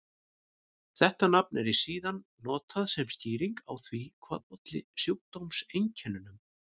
Þetta nafn er síðan notað sem skýring á því hvað olli sjúkdómseinkennunum.